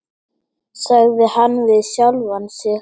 sagði hann við sjálfan sig.